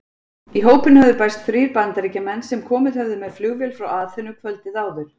Í hópinn höfðu bæst þrír Bandaríkjamenn sem komið höfðu með flugvél frá Aþenu kvöldið áður.